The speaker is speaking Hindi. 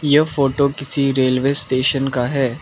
यह फोटो किसी रेलवे स्टेशन का है।